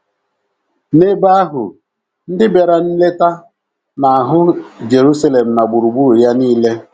N’ebe ahụ, ndị bịara nleta na - ahụ Jeruselem na gburugburu ya nile.